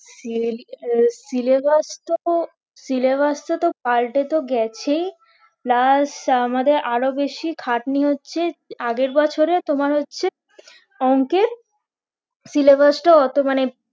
আহ syllabus তো syllabus টা তো পাল্টে তো গেছেই plus আমাদের আরো বেশি খাটনি হচ্ছে আগের বছরে তোমার হচ্ছে অংকে syllabus টা অত মানে